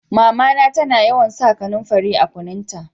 Mama na ta na yawan sa kanumfari a kunun ta.